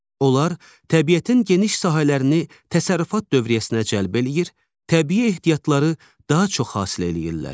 Onlar təbiətin geniş sahələrini təsərrüfat dövriyyəsinə cəlb eləyir, təbii ehtiyatları daha çox hasil eləyirlər.